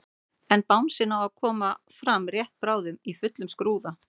En bangsinn á að koma fram rétt bráðum í fullum skrúða.